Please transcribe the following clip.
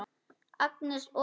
Agnes og